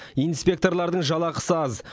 инспекторлардың жалақысы аз